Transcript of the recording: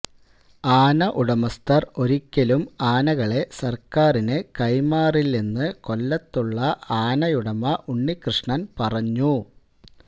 ആന ഉടമസ്ഥര് ഒരിക്കലും ആനകളെ സര്ക്കാരിന് കൈമാറില്ലെന്ന് കൊല്ലത്തുള്ള ആനയുടമ ഉണ്ണിക്കൃഷ്ണന് പറഞ്ഞു